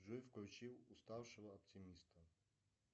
джой включи уставшего оптимиста